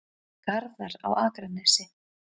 Garðar á Akranesi.